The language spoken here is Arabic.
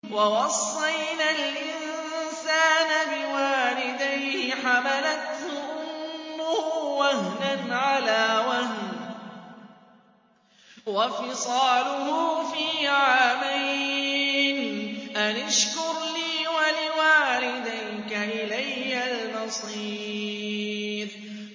وَوَصَّيْنَا الْإِنسَانَ بِوَالِدَيْهِ حَمَلَتْهُ أُمُّهُ وَهْنًا عَلَىٰ وَهْنٍ وَفِصَالُهُ فِي عَامَيْنِ أَنِ اشْكُرْ لِي وَلِوَالِدَيْكَ إِلَيَّ الْمَصِيرُ